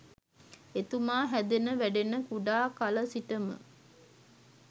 එතුමා හැදෙන වැඩෙන කුඩා කල සිටම